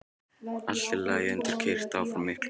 Allt er lagt undir og keyrt áfram af miklum krafti.